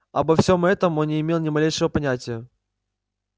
обо всём этом он не имел ни малейшего понятия